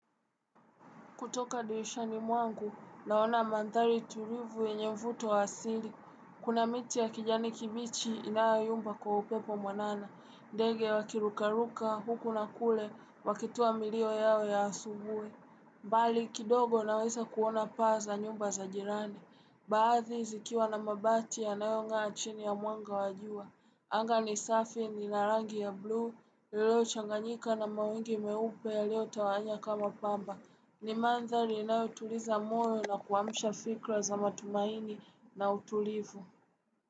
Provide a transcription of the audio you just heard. Kutoka dirishani mwangu, naona mandhari tulivu yenye mvuto wa asili. Kuna miti ya kijani kibichi inayomba kwa upepo mwanana. Ndege wakirukaruka, huku na kule, wakitoa milio yao ya asubui. Mbali kidogo naweza kuona paa za nyumba za jirani. Baadhi zikiwa na mabati ya nayong'aa chini ya mwanga wa jua. Angani safi ni narangi ya blue, lilo changanyika na mawingi meupe ya lio tawanya kama pamba. Ni manzali inayotuliza moyo na kuamsha fikra za matumaini na utulivu.